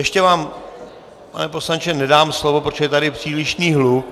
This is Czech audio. Ještě vám, pane poslanče, nedám slovo, protože je tady přílišný hluk.